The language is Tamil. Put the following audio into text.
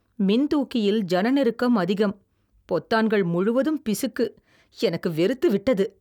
மின்தூக்கியில் ஜனநெருக்கம் அதிகம், பொத்தான்கள் முழுவதும் பிசுக்கு, எனக்கு வெறுத்து விட்டது